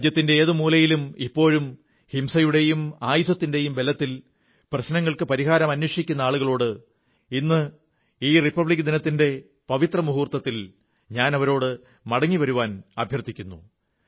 രാജ്യത്തിന്റെ ഏതൊരു മൂലയിലും ഇപ്പോഴും ഹിംസയുടെയും ആയുധത്തിന്റെയും ബലത്തിൽ പ്രശ്നങ്ങൾക്ക് പരിഹാരം അന്വേഷിക്കുന്ന ആളുകളോട് ഇന്ന് ഗണതന്ത്രദിനത്തിന്റെ റിപ്പബ്ലിക് ദിനത്തിന്റെ പവിത്ര വേളയിൽ മടങ്ങി വരാൻ അഭ്യർഥിക്കുന്നു